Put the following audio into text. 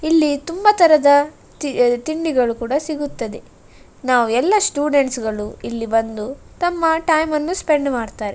ಇಲ್ಲಿ ತುಂಬಾ ತರದ ತಿ ತಿಂಡಿಗಳು ಕೂಡ ಸಿಗುತ್ತದೆ ನಾವು ಎಲ್ಲಾ ಸ್ಟೂಡೆಂಟ್ಸ್ ಗಳು ಇಲ್ಲಿ ಬಂದು ತಮ್ಮ ಟೈಮ್ ಅನ್ನು ಸ್ಪೆಂಡ್ ಮಾಡತ್ತರೆ.